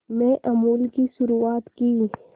में अमूल की शुरुआत की